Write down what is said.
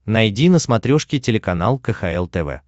найди на смотрешке телеканал кхл тв